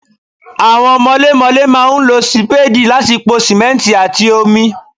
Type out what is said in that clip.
Àwọn mọlémọlé máa ń lo sì Sípéèdì láti po sìmẹ́ǹtì àti omi.